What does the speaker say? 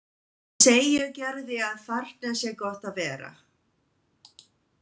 Hann segir Gerði að þarna sé gott að vera.